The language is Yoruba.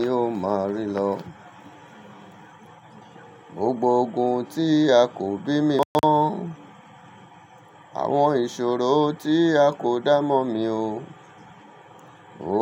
Ni o ma rí lọ. Gbogbo ogun tí a kò bí mi mọ̀, àwọn ìṣòro tí a kò dá mọ̀ mí o,